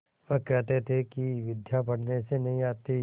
वह कहते थे कि विद्या पढ़ने से नहीं आती